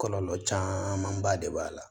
Kɔlɔlɔ camanba de b'a la